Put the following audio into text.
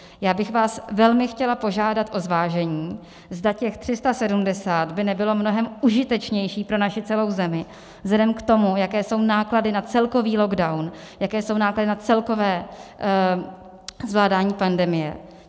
Já bych vás velmi chtěla požádat o zvážení, zda těch 370 by nebylo mnohem užitečnější pro naši celou zemi vzhledem k tomu, jaké jsou náklady na celkový lockdown, jaké jsou náklady na celkové zvládání pandemie.